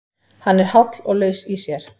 Hann er háll og laus í sér.